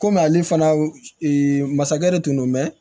Komi ale fana masakɛ de tun don mɛ